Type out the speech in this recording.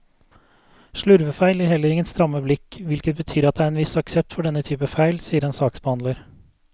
Slurvefeil gir heller ingen stramme blikk, hvilket betyr at det er en viss aksept for denne typen feil, sier en saksbehandler.